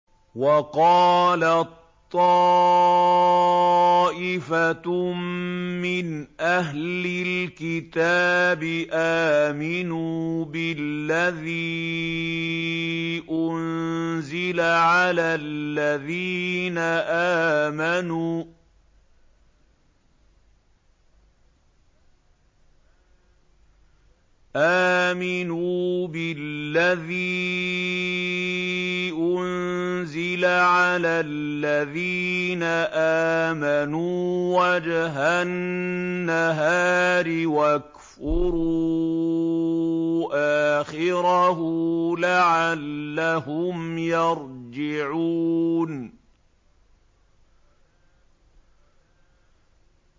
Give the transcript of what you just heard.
وَقَالَت طَّائِفَةٌ مِّنْ أَهْلِ الْكِتَابِ آمِنُوا بِالَّذِي أُنزِلَ عَلَى الَّذِينَ آمَنُوا وَجْهَ النَّهَارِ وَاكْفُرُوا آخِرَهُ لَعَلَّهُمْ يَرْجِعُونَ